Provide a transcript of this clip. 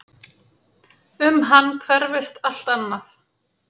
Um hann hverfist allt annað.